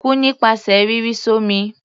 Kú nípasẹ̀ rírì s'ọ́mi!